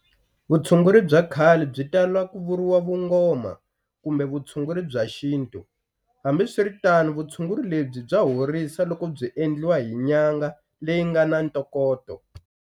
Vutshunguri bya khale byi tala ku vuriwa Vungoma kumbe Vutshunguri bya xintu. Hambiswiritano, vutshunguri lebyi bya horisa loko byi endliwa hi n'yanga leyi ngana ntokoto.